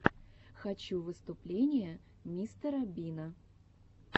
хочу выступления мистера бина